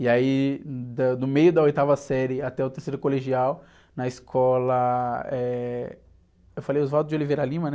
E aí, da, do meio da oitava série até o terceiro colegial, na escola... Eh... Eu falei Oswaldo de Oliveira Lima, né?